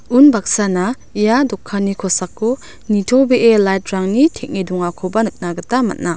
unbaksana ia dokanni kosako nitobee lait rangni teng·e dongakoba nikna gita man·a.